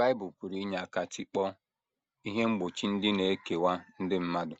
Bible pụrụ inye aka tikpọọ ihe mgbochi ndị na - ekewa ndị mmadụ